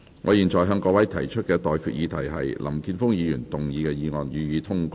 我現在向各位提出的待決議題是：林健鋒議員動議的議案，予以通過。